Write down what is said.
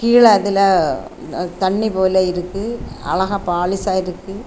கீழ அதுல தண்ணி போல இருக்கு அழகா பாலிஷா இருக்கு.